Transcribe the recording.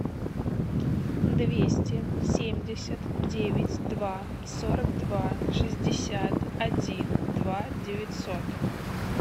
двести семьдесят девять два сорок два шестьдесят один два девятьсот